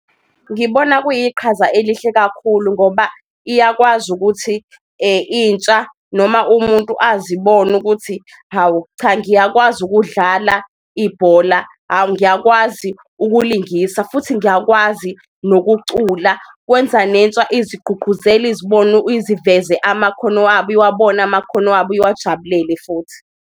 Ngibona kuyiqhaza elihle kakhulu ngoba iyakwazi ukuthi intsha noma umuntu azibone ukuthi, hawu cha ngiyakwazi ukudlala ibhola, awu ngiyakwazi ukulingisa futhi ngiyakwazi nokucula. Kwenza nentsha ezigqugquzele izibona iziveze amakhono wabo, iwabone amakhono wabo iwajabulele futhi.